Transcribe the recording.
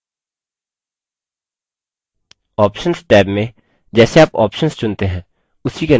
options tab में जैसे आप options चुनते हैं उसी के अनुसार सुधार होते हैं